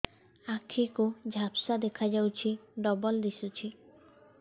ଆଖି କୁ ଝାପ୍ସା ଦେଖାଯାଉଛି ଡବଳ ଦିଶୁଚି